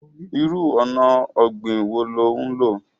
Ìrù ọ̀nà ogbin wọ ni o n lọ̀?